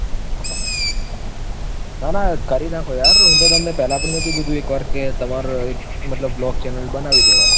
ના ના કરી નાખો યાર હુ તો તમને પેહલા પણ નોતું કીધું કે એક blog channel બનાવી દેવાય.